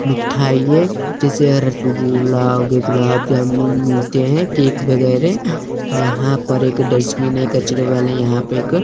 मिठाई है जैसे रसगुल्ला हो गया गुलाब जामुन मिलते हैं केक वगैरा यहां पर एक डस्टबिन कचरा वाले यहां पे एक --